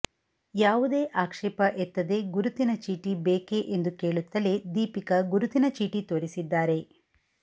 ಯಾವುದೇ ಆಕ್ಷೇಪ ಎತ್ತದೇ ಗುರುತಿನ ಚೀಟಿ ಬೇಕೆ ಎಂದು ಕೇಳುತ್ತಲೇ ದೀಪಿಕಾ ಗುರುತಿನ ಚೀಟಿ ತೋರಿಸಿದ್ದಾರೆ